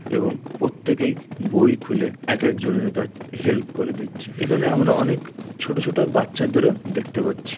এবং প্রত্যেকেই বই খুলে এক একজনের কাছে হেল্প করে দিচ্ছে। এখানে আমরা অনেক ছোট ছোট বাচ্চাদেরও দেখতে পাচ্ছি।